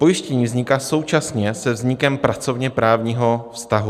Pojištění vzniká současně se vznikem pracovněprávního vztahu.